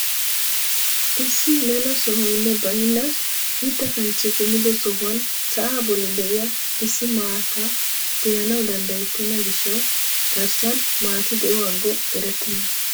Issi mela sohoynne baynna mitta kanchchee kummido sohuwaan sa'aa bolli de'iyaa issi maataa be'anawu dandayettena gishshawu garsaan maati de'o aggo erettena.